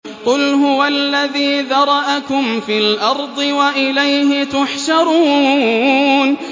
قُلْ هُوَ الَّذِي ذَرَأَكُمْ فِي الْأَرْضِ وَإِلَيْهِ تُحْشَرُونَ